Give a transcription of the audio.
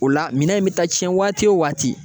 O la minɛn in bɛ taa tiɲɛ waati o waati